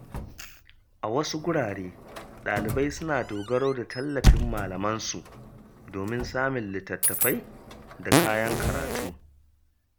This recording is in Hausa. A wasu wurare, ɗalibai suna dogaro da tallafin malamansu domin samun littattafai da kayan karatu.